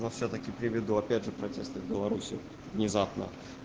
но всё-таки приведу опять же протесты в беларусию внезапно